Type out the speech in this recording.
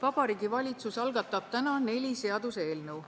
Vabariigi Valitsus algatab täna neli seaduseelnõu.